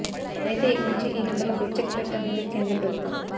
అయితే ఇక నుంచి ఈ నంబర్లకు చెక్ పెట్టనుంది కేంద్ర ప్రభుత్వం